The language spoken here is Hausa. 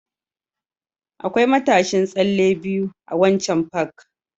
Akwai matashin tsalle biyu a waccan Park